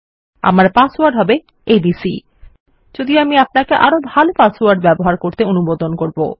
আমার পাসওয়ার্ড হবে এবিসি যদিও আমি আপনাকে আরো ভালো পাসওয়ার্ড ব্যবহার করতে বলব